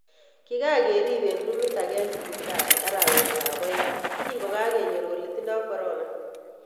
Kikakerib eng rumit ake eng siptali arawet ab aeng kokikakenyor kole tindo corona.